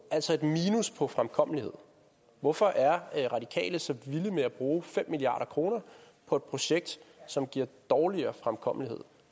altså et minus på fremkommelighed hvorfor er radikale så vilde med at bruge fem milliard kroner på et projekt som giver dårligere fremkommelighed